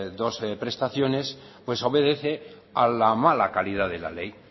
dos prestaciones pues obedece a la mala calidad de la ley